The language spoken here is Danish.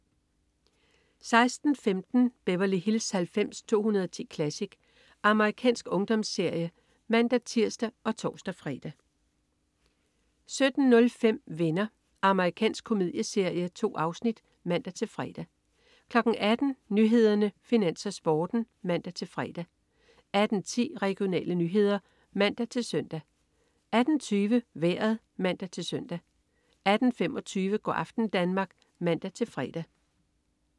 16.15 Beverly Hills 90210 Classic. Amerikansk ungdomsserie (man-tirs og tors-fre) 17.05 Venner. Amerikansk komedieserie. 2 afsnit (man-fre) 18.00 Nyhederne, Finans, Sporten (man-fre) 18.10 Regionale nyheder (man-søn) 18.20 Vejret (man-søn) 18.25 Go' aften Danmark (man-fre)